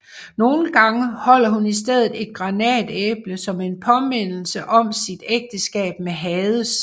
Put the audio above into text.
Nogle gange holder hun i stedet et granatæble som en påmindelse om sit ægteskab med Hades